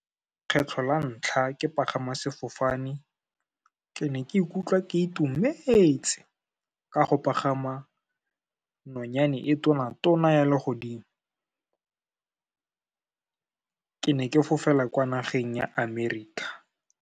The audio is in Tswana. Kgetlho la ntlha ke pagama sefofane, ke ne ke ikutlwa ke itumetse, ka go pagama nonyane e tona-tona ya legodimo. Ke ne ke fofela kwa nageng ya Amerika.